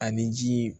Ani ji